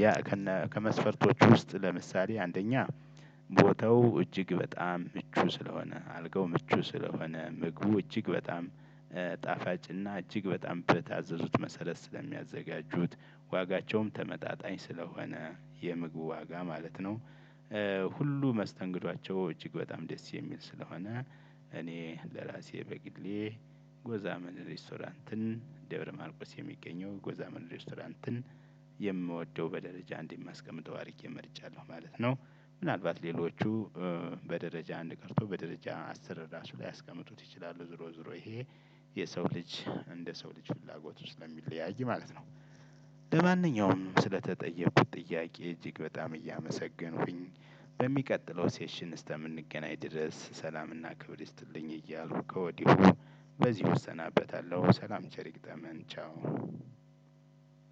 ያ ከነ ከመስፈርቶች ውስጥ ለምሳሌ አንደኛ ቦታው እጅግ በጣም ምቹ ስለሆነ አልጋው ምቹ ስለሆነ ምግቡ እጅግ በጣም ጣፋጭና እጅግ በጣም በታዘዙት መሰረት ስለሚያዘጋጁት ዋጋቸውም ተመጣጣኝ ስለሆነ። የምግቡ ዋጋ ማለት ነው። ሁሉ መስተንግዷቸው እጅግ በጣም ደስ የሚል ስለሆነ። እኔ ለራሴ በግሌ ጎዛመን ሬስቶራንትን ደብረ ማርቆስ የሚገኘው ጎዛመን ሬስቶራንትን የምወደው በደረጃ አንድ የማስቀምጠው አድርጌ መርጫለሁ ማለት ነው። ምናልባት ሌሎቹ በደረጃ አንድ ቀርቶ በደረጃ አስራ ራሱ ላያስቀምጡት ይችላሉ ዞሮ ዞሮ ይሄ የሰው ልጅ እንደ ሰው ልጅ ፍላጎቱ ስለሚለያይ ማለት ነው። ለማንኛውም ስለተጠየኩት ጥያቄ እጅግ በጣም እያመሰገንኩኝ በሚቀጥለው ሴሽን እስከምንገናኝ ድረስ ሰላምና ክብር ይስጥልኝ። እያልኩ ከወዲሁ በዚሁ እስናበታለሁ። ሰላም ቸር ይግጠመን ቻው።